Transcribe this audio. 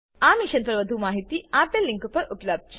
આ મિશન પર વધુ જાણકારી આપેલ લીંક પર ઉપબ્ધ છે